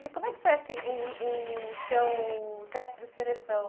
E como é que foi o o seu teste de seleção?